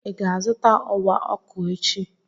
Ị ga-azụta ọwaọkụ echi?